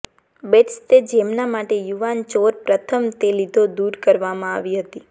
બેટ્સ તે જેમના માટે યુવાન ચોર પ્રથમ તે લીધો દૂર કરવામાં આવી હતી